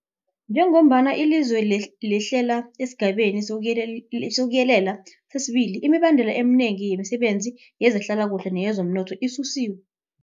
Njengombana ilizwe lehlela esiGabeni sokuYelela sesi-2, imibandela eminengi yemisebenzi yezehlalakuhle neyezomnotho isusiwe.